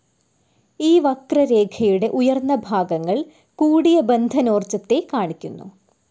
ഈ വക്രരേഖയുടെ ഉയർന്ന ഭാഗങ്ങൾ കൂടിയ ബന്ധനോർജ്ജത്തെ കാണിക്കുന്നു.